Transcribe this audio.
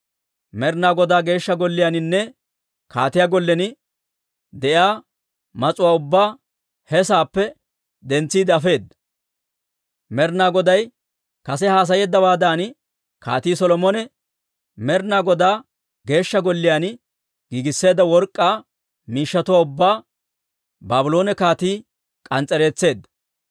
Med'ina Godaa Geeshsha Golliyaaninne kaatiyaa gollen de'iyaa mas'uwaa ubbaa he saappe dentsiide afeedda. Med'ina Goday kase haasayeeddawaadan Kaatii Solomone Med'ina Godaa Geeshsha Golliyaan giigisseedda work'k'aa miishshatuwaa ubbaa Baabloone kaatii k'ans's'ereetseedda.